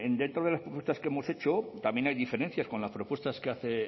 dentro de las propuestas que hemos hecho también hay diferencias con las propuestas que hace